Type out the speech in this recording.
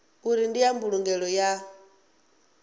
uri ndi ya mbulungelo ya